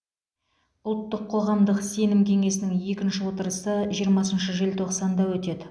ұлттық қоғамдық сенім кеңесінің екінші отырысы жиырмасыншы желтоқсанда өтеді